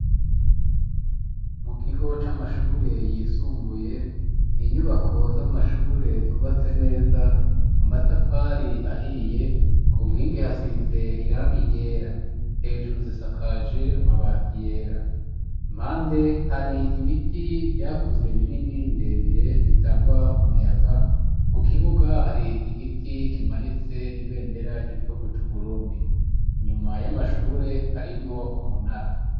Mu kigo c'amashure yisumbuye ,n' inyubako z'amashure zubatse neza ,amatafari ahiye ,ku nkingi hasize irangi ryera, hejuru zisakaje amabati yera, impande hari ibiti vyakuze binini birebire bitanga umuyaga, mu kibuga hari igiti kimanitse ibendera ry'igihugu c'Uburundi inyuma y'amashure harimwo umunara.